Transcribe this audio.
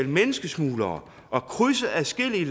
menneskesmuglere og krydse adskillige